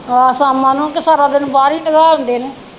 ਆਹੋ ਸ਼ਾਮਾਂ ਨੂੰ ਕੇ ਸਾਰਾ ਦਿਨ ਬਾਹਰ ਈ ਨਗਾਲ ਦੇ ਨੇ।